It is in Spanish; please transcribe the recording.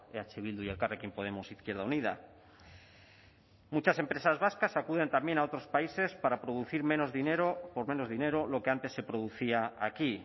eh bildu y elkarrekin podemos izquierda unida muchas empresas vascas acuden también a otros países para producir menos dinero por menos dinero lo que antes se producía aquí